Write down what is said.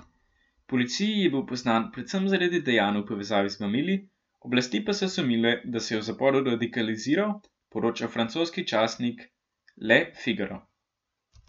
Policiji je bil poznan predvsem zaradi dejanj v povezavi z mamili, oblasti pa so sumile, da se je v zaporu radikaliziral, poroča francoski časnik Le Figaro.